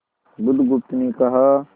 बुधगुप्त ने कहा